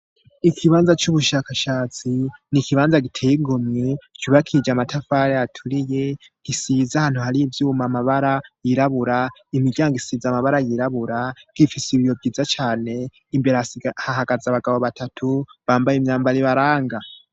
Ikibanza c'ubushakashatsi ni ikibanza giteyigomye kubakije amatafari aturiye gisiza hantu hariy ivyuma amabara yirabura imiryango isiza amabara yirabura gifise ibiyo vyiza cane imbere ahagaza abagabo batatu bambaye imyambara i baranga.